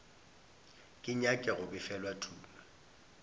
ke nyake go befelwa tumi